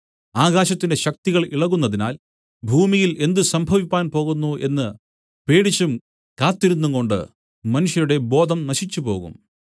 ആകാശത്തിന്റെ ശക്തികൾ ഇളകുന്നതിനാൽ ഭൂമിയിൽ എന്ത് സംഭവിപ്പാൻ പോകുന്നു എന്നു പേടിച്ചും കാത്തിരുന്നുംകൊണ്ട് മനുഷ്യരുടെ ബോധം നശിച്ചുപോകും